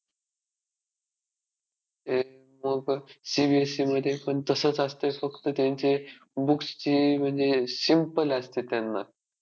CBSE मध्ये पण तसंच असतंय फक्त त्यांचे books चे म्हणजे~ simple असतं त्यांना.